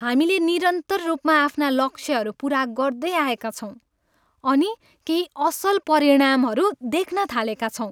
हामीले निरन्तर रूपमा आफ्ना लक्ष्यहरू पुरा गर्दै आएका छौँ अनि केही असल परिणामहरू देख्न थालेका छौँ।